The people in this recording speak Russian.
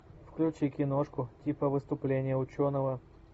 включи киношку типа выступления ученого